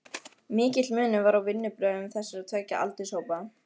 Mikill munur var á vinnubrögðum þessara tveggja aldurshópa.